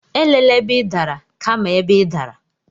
Elela ebe ị dara, kama ebe ị dara.